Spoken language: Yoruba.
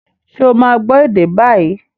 Ṣé ó máa gbọ́ ède bái?